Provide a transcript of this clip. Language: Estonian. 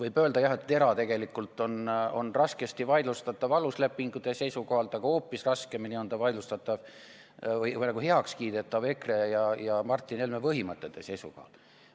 Võib öelda jah, et TERA on raskesti vaidlustatav aluslepingu seisukohalt, aga hoopis raskemini on see heakskiidetav EKRE ja Martin Helme põhimõtete seisukohalt.